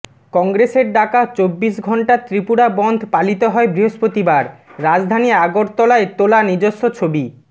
কংগ্রেসের ডাকা চবিবশ ঘন্টার ত্রিপুরা বনধ পালিত হয় বৃহস্পতিবার রাজধানী আগরতলায় তোলা নিজস্ব ছবি